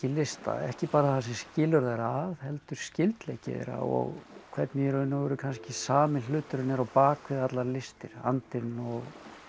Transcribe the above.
lista ekki bara það sem skilur þær að heldur skyldleiki þeirra og hvernig í raun og veru kannski sami hluturinn er á bak við allar listir andinn og